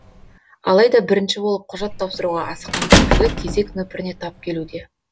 алайда бірінші болып құжат тапсыруға асыққан көпшілік кезек нөпіріне тап келуде